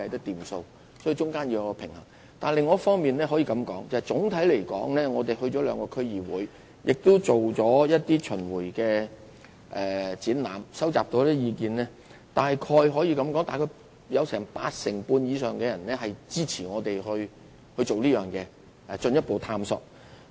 不過，在另一方面，我可以告訴大家，總體而言，在我們諮詢兩個區議會及舉辦若干巡迴展覽後收集所得的意見中，約有八成半以上人士支持我們進行這項工作及作進一步探討。